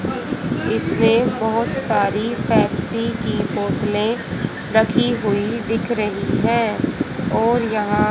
इसमे बहोत सारी पेप्सी की बोतलें रखी हुई दिख रही हैं और यहां--